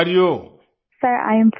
Vijayashanti ji sir I am fine